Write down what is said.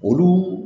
Olu